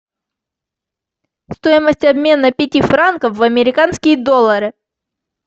стоимость обмена пяти франков в американские доллары